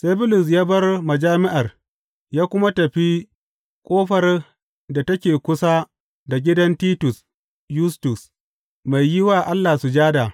Sai Bulus ya bar majami’ar ya kuma tafi ƙofar da take kusa da gidan Titus Yustus, mai yi wa Allah sujada.